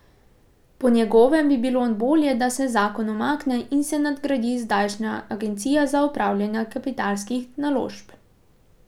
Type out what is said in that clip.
Po njegovem bi bilo bolje, da se zakon umakne in se nadgradi zdajšnjo Agencijo za upravljanje kapitalskih naložb.